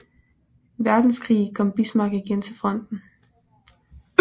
Verdenskrig kom Bismarck igen til fronten